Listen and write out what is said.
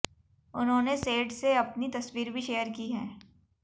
उन्होंने सेट से अपनी तस्वीर भी शेयर की है